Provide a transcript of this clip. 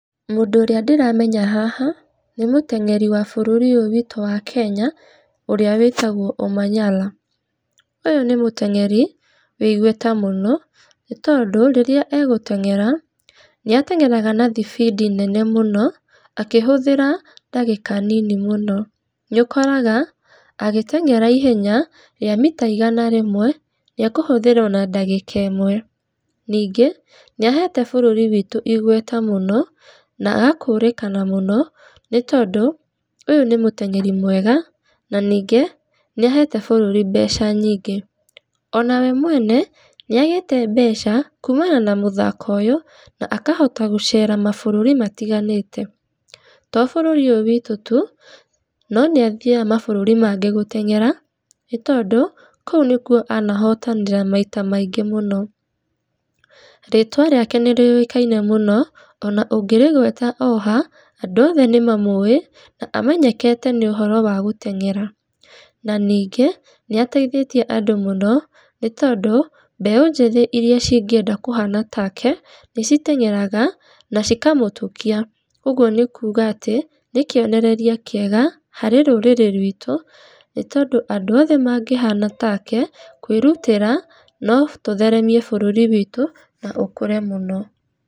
Mũndũ ũrĩa ndĩramenya haha, nĩ mũteng’eri wa bũrũri ũyũ witũ wa Kenya, ũrĩa wĩtagwo Omanyala. Ũyũ nĩ mũteng’eri wĩigweta mũno, nĩ tondũ rĩrĩa egũteng’era, nĩateng’eraga na thibidi nene mũno, akĩhũthĩra ndagĩka nini mũno. Nĩũkoraga, agĩteng’era ihenya, rĩa mita igana rĩmwe, nĩekũhũthĩra ona dakika ĩmwe. Nĩngĩ nĩahete bũrũri witũ igweta mũno, na agakũrĩkana mũno, nĩ tondũ ũyũ nĩ mũteng’eri mwega na ningĩ, nĩahete bũrũri mbeca nyingĩ. O nawe mwene, nĩagĩte mbeca kuumana na mũthako ũyu, na akahota gũceera mabũrũri matiganĩte. To bũrũri ũyũ witũ tu, na nĩathiaga mabũrũri mangĩ gũteng’era, nĩ tondũ kũu nĩkuo anahotanĩra maita maingĩ mũno. Rĩtwa rĩake nĩrĩũĩkaine mũno, ona ũngĩrĩgweta o ha, andũ othe nĩmamũũĩ, na amenyekete nĩ ũhoro wa gũteng’era. Na ningĩ nĩateithĩtie andũ mũno, nĩ tondũ, mbeũ njĩthĩ iria cingĩenda kũhana take, nĩciteng’eraga na cikamũtũkia, ũguo nĩkuuga atĩ, nĩ kĩonereria kĩega harĩ rũrĩrĩ rwitũ, nĩ tondũ andũ othe mangĩhana take, kwĩrutĩra, notũtheremie bũrũri witũ na ũkũre mũno.